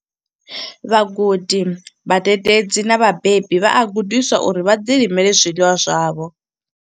Vhagudi vhadededzi na vhabebi vha a gudiswa uri vha ḓilimele zwiḽiwa zwavho.